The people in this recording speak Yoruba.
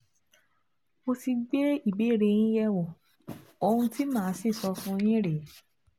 Mo ti gbé ìbéèrè yín yẹ̀wò, ohun tí màá sì sọ fún yín rèé